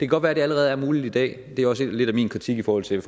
godt være det allerede er muligt i dag og det er måske også lidt min kritik i forhold til